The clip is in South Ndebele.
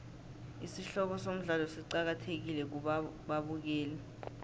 isihloko somdlalo siqakathekile kubabukeli